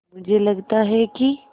मुझे लगता है कि